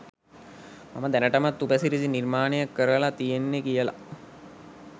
මම දැනටමත් උපසිරසි නිර්මාණය කරලා තියෙන්නේ කියලා